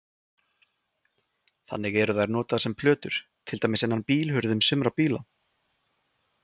Þannig eru þær notaðar sem plötur til dæmis innan á bílhurðum sumra bíla.